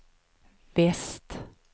väst